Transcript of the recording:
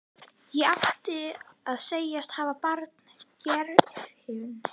Ég átti að segjast hafa banað Geirfinni.